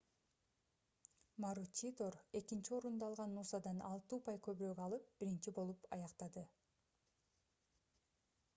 маручидор экинчи орунду алган нусадан алты упай көбүрөөк алып биринчи болуп аяктады